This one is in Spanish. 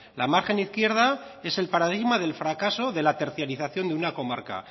la margen izquierda es el paradigma del fracaso de la tercerización de una comarca